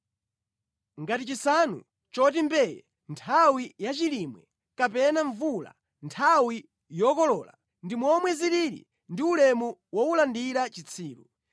Ngati chisanu choti mbee nthawi yachilimwe kapena mvula nthawi yokolola, ndi momwe zilili ndi ulemu wowulandira chitsiru.